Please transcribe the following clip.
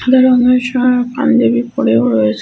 সাদা রঙের সা পাঞ্জাবি পরেও রয়েছে।